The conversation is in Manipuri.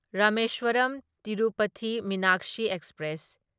ꯔꯥꯃꯦꯁ꯭ꯋꯔꯝ ꯇꯤꯔꯨꯄꯊꯤ ꯃꯤꯅꯥꯛꯁꯤ ꯑꯦꯛꯁꯄ꯭ꯔꯦꯁ